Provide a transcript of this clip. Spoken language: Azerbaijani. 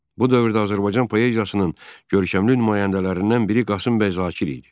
Bu dövrdə Azərbaycan poeziyasının görkəmli nümayəndələrindən biri Qasımbəy Zakir idi.